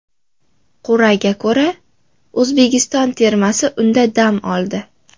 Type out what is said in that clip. Qur’aga ko‘ra, O‘zbekiston termasi unda dam oldi.